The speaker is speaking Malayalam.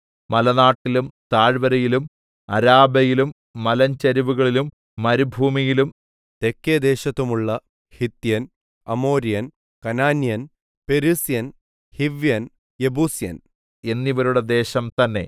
മലനാട്ടിലും താഴ്‌വരയിലും അരാബയിലും മലഞ്ചരിവുകളിലും മരുഭൂമിയിലും തെക്കേ ദേശത്തും ഉള്ള ഹിത്യൻ അമോര്യൻ കനാന്യൻ പെരിസ്യൻ ഹിവ്യൻ യെബൂസ്യൻ എന്നിവരുടെ ദേശം തന്നേ